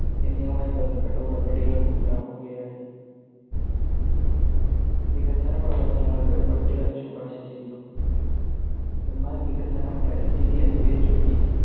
എന്നിവയുമായ ബന്ധപ്പെട്ട ഉടമ്പടികൾ ഉണ്ടാക്കുകയായി. വികസന പ്രവത്തനങ്ങളുടെ ഒരു പട്ടിക അത് ശുപാർശ ചെയ്തു. എന്നാൽ വികസനം, പരിസ്ഥിതി എന്നിവയെ ചൊല്ലി